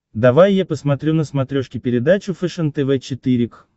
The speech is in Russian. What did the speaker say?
давай я посмотрю на смотрешке передачу фэшен тв четыре к